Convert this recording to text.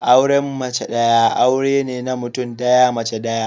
Auren mace daya aure ne na mutum daya, mace daya